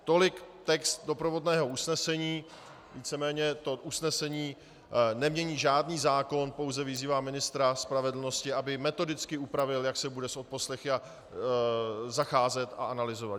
Tolik text doprovodného usnesení, víceméně to usnesení nemění žádný zákon, pouze vyzývá ministra spravedlnosti, aby metodicky upravil, jak se bude s odposlechy zacházet a analyzovat.